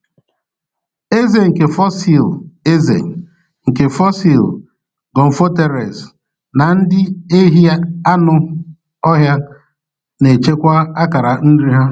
Ezé nke fosil Ezé nke fosil gomphotheres na ndị ehi anụ ọhịa na-echekwa akara nri ha.